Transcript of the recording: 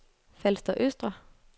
Falster Østre